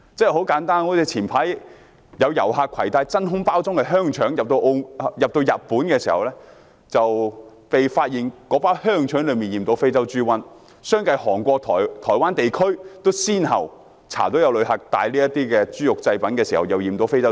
很簡單，早前有遊客攜帶真空包裝的香腸入境日本，那包香腸被發現染有非洲豬瘟，而韓國、台灣地區都相繼先後查到有旅客攜帶染有非洲豬瘟的豬肉製品。